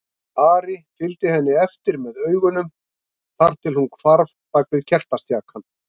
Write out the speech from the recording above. Ari fylgdi henni eftir með augunum þar til hún hvarf bak við kertastjakann.